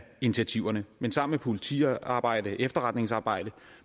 initiativerne men sammen med politiarbejde og efterretningsarbejde